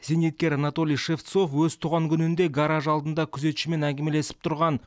зейнеткер анатолий шевцов өз туған күнінде гараж алдында күзетшімен әңгімелесіп тұрған